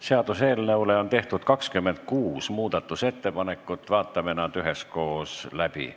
Seaduseelnõu muutmiseks on tehtud 26 ettepanekut, vaatame need üheskoos läbi.